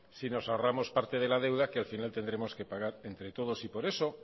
si nos ahorramos parte de la deuda que al final tendremos que pagar entre todos y por eso